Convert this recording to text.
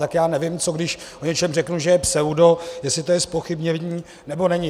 Tak já nevím, co když o něčem řeknu, že je pseudo, jestli to je zpochybnění, nebo není.